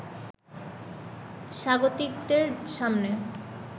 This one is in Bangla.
স্বাগতিকদের সামনে